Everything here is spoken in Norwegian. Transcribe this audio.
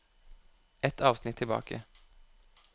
Ett avsnitt tilbake